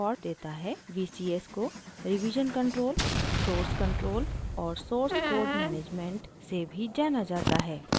vcs को revision control source control और source code management scm से भी जाना जाता है